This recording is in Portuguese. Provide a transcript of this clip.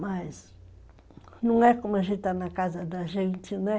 Mas não é como a gente está na casa da gente, né?